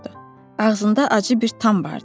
Ağzında acı bir tam vardı.